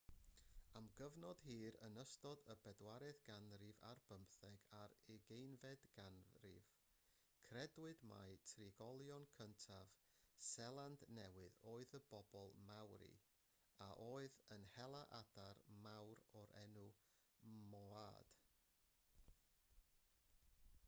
am gyfnod hir yn ystod y bedwaredd ganrif ar bymtheg a'r ugeinfed ganrif credwyd mai trigolion cyntaf seland newydd oedd y bobl maori a oedd yn hela adar mawr o'r enw moaod